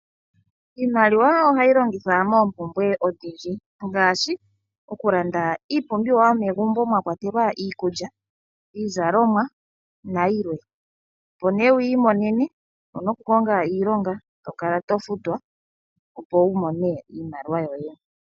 Iimaliwa ohayi longithwa moompumbwe odhindji. Ngaashi okulanda iipumbiwa yomegumbo mwa kwatelwa iikulya, iizalomwa nayilwe. Opo nee wuyi imonene owuna okukonga iilonga eto kala to futwa opo wu mone iimaliwa yoye.